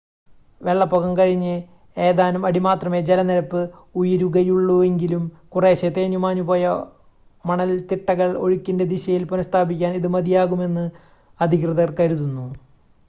വെള്ളപ്പൊക്കം കഴിഞ്ഞ് ഏതാനും അടി മാത്രമേ ജലനിരപ്പ് ഉയരുകയുള്ളുവെങ്കിലും കുറേശ്ശ തേഞ്ഞുമാഞ്ഞു പോയ മണൽത്തിട്ടകൾ ഒഴിക്കിൻ്റെ ദിശയിൽ പുനഃസ്ഥാപിക്കാൻ ഇത് മതിയാകുമെന്ന് അധികൃതർ കരുതുന്നു